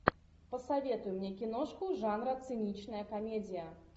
посоветуй мне киношку жанра циничная комедия